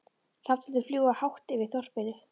Hrafnarnir fljúga hátt yfir þorpinu.